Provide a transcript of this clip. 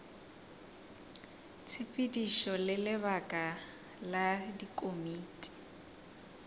tshepedišo le lebaka la dikomiti